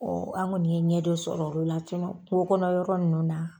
Ɔ an kɔni ye ɲɛ dɔ sɔrɔ olu la, kungo kɔnɔ yɔrɔ nunnu na.